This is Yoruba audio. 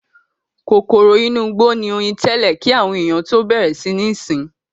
Kòkòrò inú igbó ni oyin tẹ́lẹ̀ kí àwọn ènìyàn tó bẹ̀rẹ̀ sí ní sìn ín.